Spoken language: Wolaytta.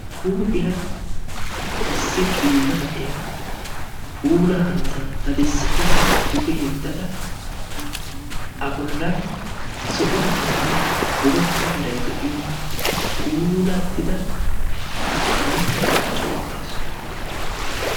huuphiya issi qiiba na'iya duge zaara daddada a bollan zo'o meraanne bootta meray de'iyo puulattida zo'obaa qachcha uttaasu.